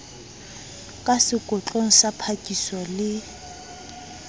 ka sekotlong sa phakiso le